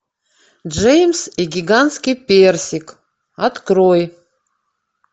джеймс и гигантский персик открой